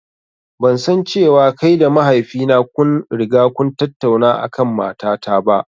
Ban san cewa kai da mahaifi na kun riga kun tattauna a kan mata ta ba.